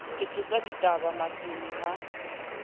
ke tsosa dibata masene ha